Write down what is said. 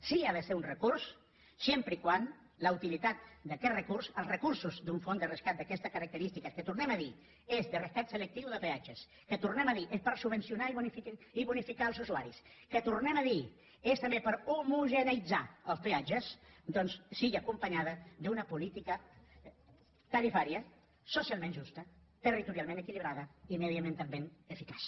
sí que ha de ser un recurs sempre que la utilitat d’aquest recurs els recursos d’un fons de rescat d’aquestes característiques que ho tornem a dir és de rescat selectiu de peatges que ho tornem a dir és per subvencionar i bonificar els usuaris que ho tornem a dir és també per homogeneïtzar els peatges doncs sigui acompanyada d’una política tarifària socialment justa territorialment equilibrada i mediambientalment eficaç